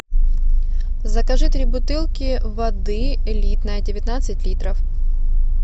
закажи три бутылки воды элитная девятнадцать литров